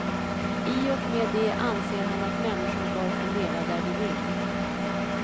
I och med det anser han att människor bör få leva där de vill.